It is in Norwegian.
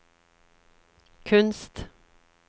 kunst